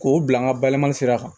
K'o bila n ka bayɛlɛmani sira kan